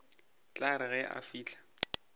tla re ge a fihla